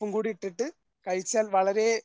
ഉപ്പും കൂടിയിട്ടിട്ട് കഴിച്ചാൽ വളരെ